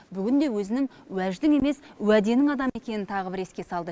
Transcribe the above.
бүгін де өзінің уәждің емес уәденің адамы екенін тағы бір еске салды